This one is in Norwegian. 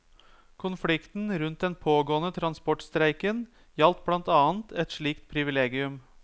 Konflikten rundt den pågående transportstreiken gjaldt blant annet et slikt privilegium.